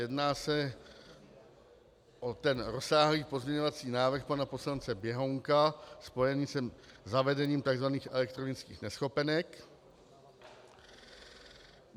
Jedná se o ten rozsáhlý pozměňovací návrh pana poslance Běhounka spojený se zavedením tzv. elektronických neschopenek.